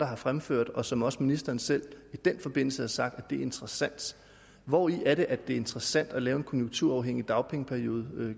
har fremført og som også ministeren selv i den forbindelse har sagt var interessant hvori er det at det er interessant at lave en konjunkturafhængig dagpengeperiode